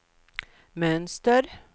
mönster